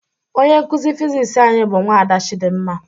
Onye nkụzi Fiziks anyị bụ nwada Chidimma